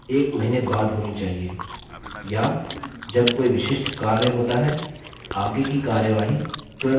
या जब कोई विशिष्ट कार्य होता है आगे की कार्यवाही तुरंत करनी चाहिए